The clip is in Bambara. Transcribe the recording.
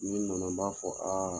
Ni min nana n ba fɔ aa